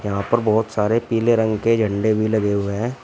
यहां पर बहोत सारे पीले रंग के झंडे भी लगे हुए हैं।